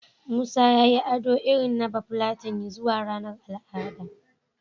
Musa ya yi ado irin na Bafulatani zuwa ranar al'ada.